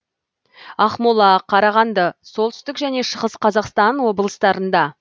ақмола қарағанды солтүстік және шығыс қазақстан облыстарында